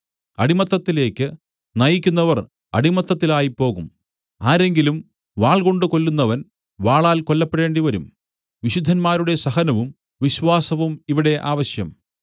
അടിമത്തത്തിലേക്ക് നയിക്കുന്നവർ അടിമത്തത്തിലായിപ്പോകും ആരെങ്കിലും വാൾകൊണ്ടു കൊല്ലുന്നവൻ വാളാൽ കൊല്ലപ്പെടേണ്ടിവരും വിശുദ്ധന്മാരുടെ സഹനവും വിശ്വാസവും ഇവിടെ ആവശ്യം